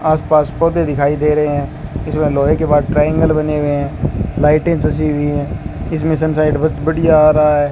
आज पास पौधे दिखाई दे रहे है इसमें लोहे के बाद ट्रायंगल बने हुए है लाइटें जची हुई है इसमें संसाईट ब बढ़िया आ रहा है।